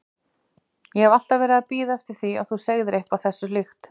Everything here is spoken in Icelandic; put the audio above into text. Ég hef alltaf verið að bíða eftir að þú segðir eitthvað þessu líkt.